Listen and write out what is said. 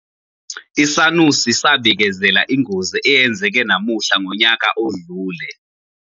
Isanusi sabikezela ingozi eyenzeke namuhla ngonyaka odlule.